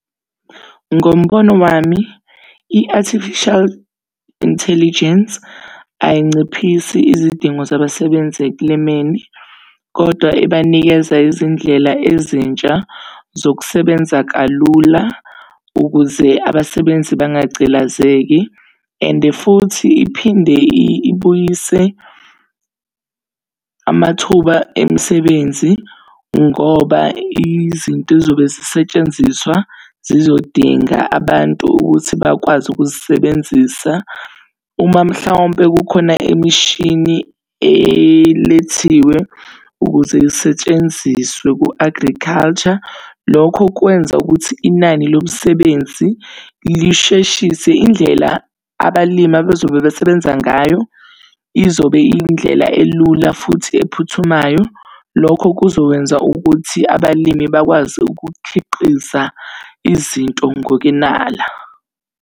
Ngombono wami, i-Artificial Intelligence ayinciphisi izidingo zabasebenzi ekulimeni, kodwa ibanikeza izindlela ezintsha zokusebenza kalula ukuze abasebenzi bangagcilazeki. And futhi iphinde ibuyise amathuba emisebenzi ngoba izinto ey'zobe zisetshenziswa zizodinga abantu ukuthi bakwazi ukuzisebenzisa. Uma mhlawumpe kukhona imishini elethiwe ukuze lisetshenziswe ku-agriculture. Lokho kwenza ukuthi inani lomsebenzi lisheshise indlela abalimi abezobe besebenza ngayo, izobe iyindlela elula futhi ephuthumayo. Lokho kuzokwenza ukuthi abalimi bakwazi ukukhiqiza izinto ngokwenala.